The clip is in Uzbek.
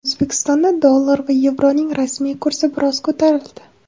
O‘zbekistonda dollar va yevroning rasmiy kursi biroz ko‘tarildi.